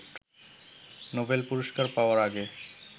Nobel পুরস্কার পাওয়ার আগে